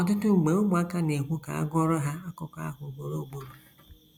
Ọtụtụ mgbe ụmụaka na - ekwu ka a gụọrọ ha akụkọ ahụ ugboro ugboro.